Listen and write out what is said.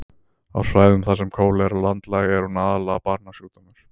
á svæðum þar sem kólera er landlæg er hún aðallega barnasjúkdómur